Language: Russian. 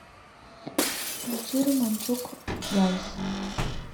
включи романчук гайс